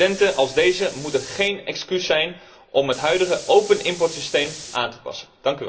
Incidenten als deze moeten geen excuus zijn om het huidige open importsysteem aan te passen.